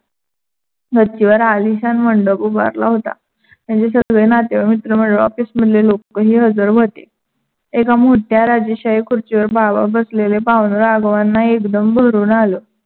गच्चीवर आलीशान मंडप उभारला होता. त्याचे सगळे नातेवाईक, मित्र मंडळी office मधले लोकही हजर होते. एका मोठ्या राजेशाही खुर्चीवर बाबा बसलेले पाहून राघवांना एकदम भरून आलं.